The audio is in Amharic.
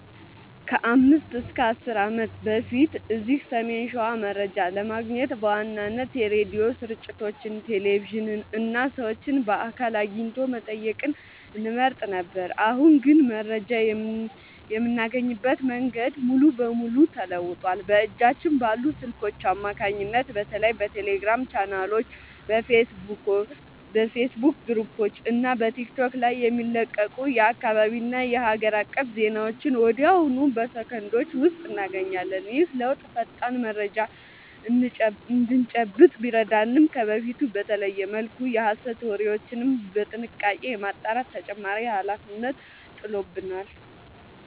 ከ5 እና 10 ዓመት በፊት እዚህ ሰሜን ሸዋ መረጃ ለማግኘት በዋናነት የሬዲዮ ስርጭቶችን፣ ቴሌቪዥንን እና ሰዎችን በአካል አግኝቶ መጠየቅን እንመርጥ ነበር። አሁን ግን መረጃ የምናገኝበት መንገድ ሙሉ በሙሉ ተለውጧል። በእጃችን ባሉ ስልኮች አማካኝነት በተለይ በቴሌግራም ቻናሎች፣ በፌስቡክ ግሩፖች እና በቲክቶክ ላይ የሚለቀቁ የአካባቢና የሀገር አቀፍ ዜናዎችን ወዲያውኑ በሰከንዶች ውስጥ እናገኛለን። ይህ ለውጥ ፈጣን መረጃ እንድንጨብጥ ቢረዳንም፣ ከበፊቱ በተለየ መልኩ የሐሰት ወሬዎችን በጥንቃቄ የማጣራት ተጨማሪ ኃላፊነት ጥሎብናል።